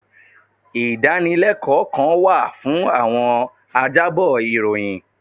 Ìdánilẹ́kọ̀ọ́ kan wà fún àwọn ajábọ̀ ìròyìn.